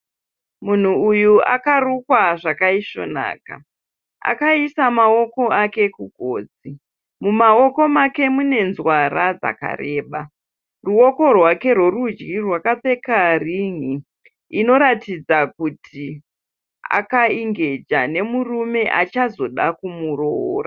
Munhu uyu akarukwa zvakaisvonaka. Akaisa maoko ake kugotsi. Mumaoko make mune nzwara dzakareba. Ruoko rwake rwerudyi rwakapfeka rin'i inoratidza kuti akaingeja nemurume achazoda kumuroora.